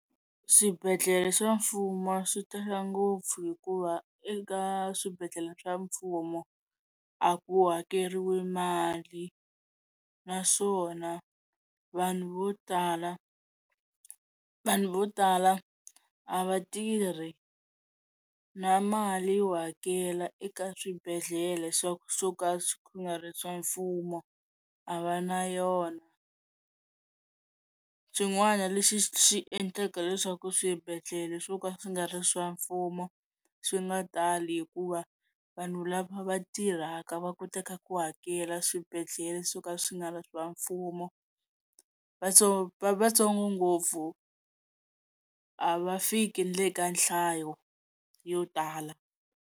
Swibedhlele swa mfumo swi tala ngopfu hikuva eka swibedhlele swa mfumo a ku hakeriwi mali naswona vanhu vo tala vanhu vo tala a va tirhi na mali yo hakela eka swibedhlele swa ku swo ka xi nga ri swa mfumo a va na yona, xin'wana lexi xi endlaka leswaku swibedhlele swo ka swi nga ri swa mfumo swi nga tali hikuva vanhu lava va tirhaka va ku teka ku hakela swibedhlele swo ka swi nga swa mfumo vatsongo ngopfu a va fiki nile ka nhlayo yo tala.